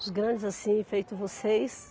Os grandes assim, feito vocês.